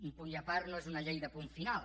un punt i a part no és una llei de punt final